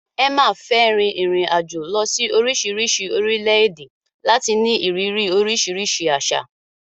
Emma fẹ́ rin ìrìn-àjò lọ sí oríṣiríṣi orílẹ̀-èdè láti ní ìrírí oríṣiríṣi àṣà.